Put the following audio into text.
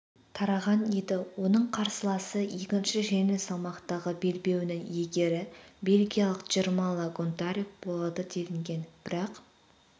тараған еді оның қарсыласы екінші жеңіл салмақтағы белбеуінің иегері бельгиялық джермалла гонтарюк болады делінген бірақ